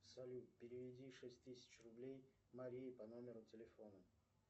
салют переведи шесть тысяч рублей марии по номеру телефона